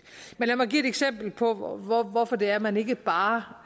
men lad mig give et eksempel på hvorfor det er man ikke bare